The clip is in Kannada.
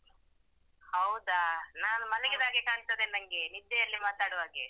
ಹೌದಾ ನಾನು ಮಲಗಿದ್ದಾಗೆ ಕಾಣ್ತದೆ ನನ್ಗೆ ನಿದ್ದೆಯಲ್ಲಿ ಮಾತಾಡುವಾಗೆ.